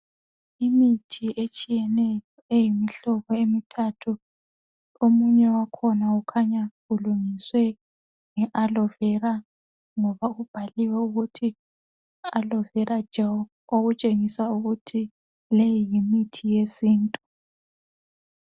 Imithi etshiyeneyo eyimihlobo emithathu. Omunye wakhona ukhanya ulungiswe ngealoe vera ngoba kubhaliwe ukuthi aloe vera gel okutshengisa ukuthi leyi yimithi yesintu.